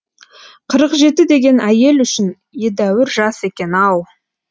қырық жеті деген әйел үшін едәуір жас екен ау